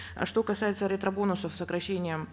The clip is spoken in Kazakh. э что касается ретро бонусов сокращением